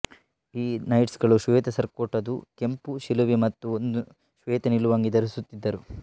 ಈ ನೈಟ್ಸ್ ಗಳು ಶ್ವೇತ ಸರ್ಕೋಟ್ಅದು ಕೆಂಪು ಶಿಲುಬೆ ಮತ್ತು ಒಂದು ಶ್ವೇತ ನಿಲುವಂಗಿ ಧರಿಸುತ್ತಿದ್ದರು